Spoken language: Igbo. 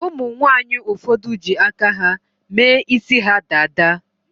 Umunwanyi ụfọdụ ji aka ha mee isi ha dada.